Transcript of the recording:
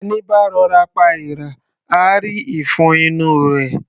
Ẹní bá rọ'ra pa èèrà, á rí ìfun inú u rẹ̀.